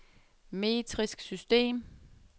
metrisk system